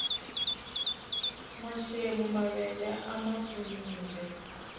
nwaxemu mavele a mapfunile